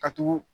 Ka tugu